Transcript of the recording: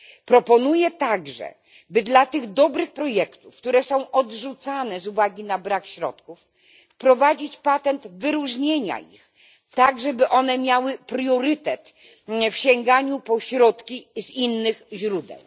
Proponuję także, by dla tych dobrych projektów, które są odrzucane z uwagi na brak środków, wprowadzić patent wyróżnienia ich, tak żeby miały priorytet w sięganiu po środki z innych źródeł.